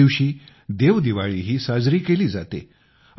याच दिवशी देवदिवाळीही साजरी केली जाते